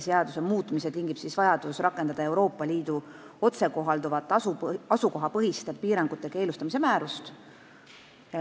Seaduse muutmise tingib vajadus rakendada Euroopa Liidu otsekohalduvat asukohapõhiste piirangute keelustamise määrust.